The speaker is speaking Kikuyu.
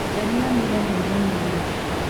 We nĩonire ndwaiganĩire